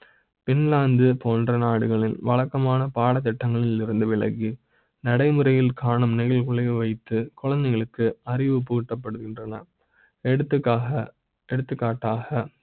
Finland போன்ற நாடுகளில் வழக்க மான பாடத்திட்ட ங்களில் இருந்து விலகி நடைமுறை யில் காணும் நீங்கள் உள்ளே வைத்து குழந்தைகளுக்கு அறிவுபூட்டப்படுகின்றன